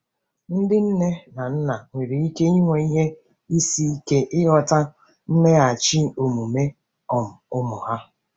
Ndị nne na nna nwere ike inwe ihe isi ike ịghọta mmeghachi omume um ụmụ ha.